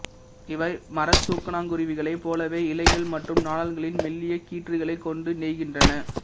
இவை மற தூக்கணாங்குருவிகளைப் போலவே இலைகள் மற்றும் நாணல்களின் மெல்லிய கீற்றுகளைக் கொண்டு நெய்கின்றன